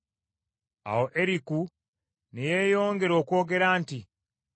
Awo Eriku ne yeeyongera okwogera nti,